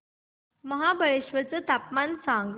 महाबळेश्वर चं तापमान सांग